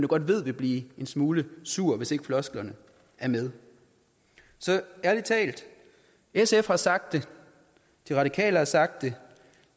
godt ved vil blive en smule sur hvis ikke flosklerne er med så ærlig talt sf har sagt det de radikale har sagt det